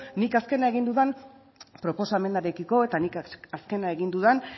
nik azkena egin dudan proposamenarekiko eta nik azkena egin dudan